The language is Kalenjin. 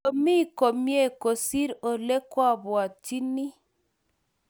Ko mie komie kosir ole kwapwatchinnie